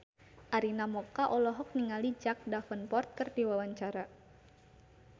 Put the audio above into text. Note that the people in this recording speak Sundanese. Arina Mocca olohok ningali Jack Davenport keur diwawancara